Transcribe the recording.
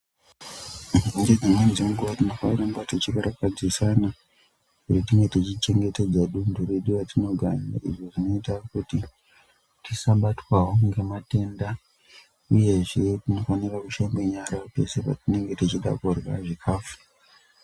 Dzimweni dzenguwa tinofana kuramba tichi karakadzisana ngekunge tichi chengetedzawo dunthu redu ratinogara. Izvi zvinoita kuti tisa batwawo ngematenda uyezve Tinofanira kushambe nyara peshe patinoda Kurya zvikhafu.